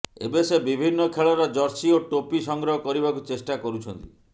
ଏବେ ସେ ବିଭିନ୍ନ ଖେଳର ଜର୍ସି ଓ ଟୋପି ସଂଗ୍ରହ କରିବାକୁ ଚେଷ୍ଟା କରୁଛନ୍ତି